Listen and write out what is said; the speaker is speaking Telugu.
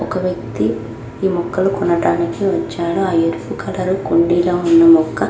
ఒక వ్యక్తి ఈ మొక్కలు కొనడానికి వచ్చారు ఆ ఎరుపు కలరు కుండీ లో ఉన్న మొక్క --